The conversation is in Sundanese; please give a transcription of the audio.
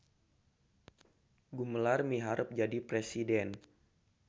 Gumelar miharep jadi presiden